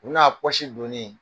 O n'a pɔsi donni